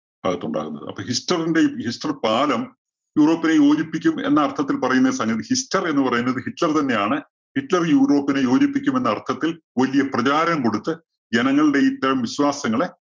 ആ ഭാഗത്തുണ്ടാകുന്നത്. അപ്പോ ഹിസ്റ്ററിന്റെ ഹിസ്റ്റര്‍ പാലം യൂറോപ്പിനെ യോജിപ്പിക്കും എന്നര്‍ത്ഥത്തില്‍ പറയുന്ന സംഗതി ഹിസ്റ്റര്‍ എന്ന് പറയുന്നത് ഹിറ്റ്‌ലര്‍ തന്നെയാണ്. ഹിറ്റ്‌ലര്‍ യൂറോപ്പിനെ യോജിപ്പിക്കും എന്നര്‍ത്ഥത്തില്‍ വലിയ പ്രചാരം കൊടുത്ത് ജനങ്ങളുടെ ഇത്തരം വിശ്വാസങ്ങളെ